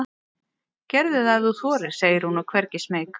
Gerðu það ef þú þorir, segir hún og er hvergi smeyk.